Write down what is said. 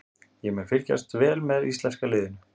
Ég mun fylgjast vel með íslenska liðinu.